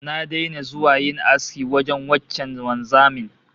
Na daina zuwa yin aski wajen wancan wanzamin